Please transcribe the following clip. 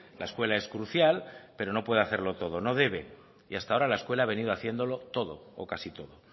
la escuela es crucial pero no puede hacerlo todo no debe y hasta ahora la escuela ha venido haciéndolo todo o casi todo